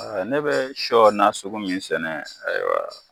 ne bɛ sɔ nasugu min sɛnɛ ayiwa